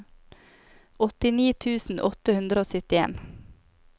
åttini tusen åtte hundre og syttien